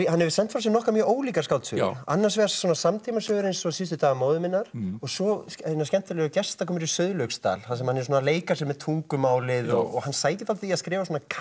hefur sent frá sér nokkrar mjög ólíkar skáldsögur annars vegar samtímasögur eins og síðustu dagar móður minnar og svo hina skemmtilegu gestakomur í Sauðlauksdal þar sem hann er svona að leika sér með tungumálið hann sækir svolítið í að skrifa